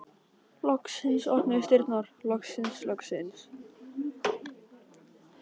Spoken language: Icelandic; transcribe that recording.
Loksins opnuðust dyrnar, loksins, loksins!